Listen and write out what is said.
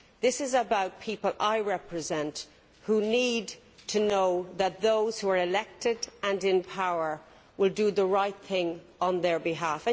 This is about people I represent who need to know that those who are elected and in power will do the right thing on their behalf.